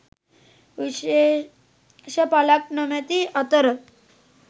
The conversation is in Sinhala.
විශේෂ පලක් නොමැති අතර